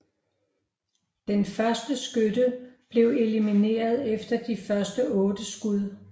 Den første skytte blev elimineret efter de første otte skud